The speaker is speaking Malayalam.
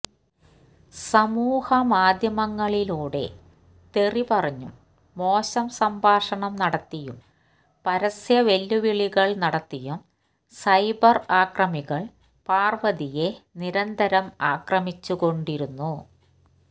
സമൂഹമാധ്യമങ്ങളിലൂടെ തെറി പറഞ്ഞും മോശം സംഭാഷണം നടത്തിയും പരസ്യവെല്ലുവിളികൾ നടത്തിയും സൈബർ ആക്രമീകൾ പാർവതിയെ നിരന്തരം ആക്രമിച്ചുകൊണ്ടിരുന്നു